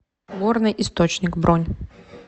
горный источник бронь